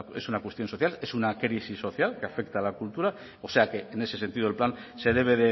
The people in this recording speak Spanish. es una cuestión social es una crisis social que afecta a la cultura o sea que en ese sentido el plan se debe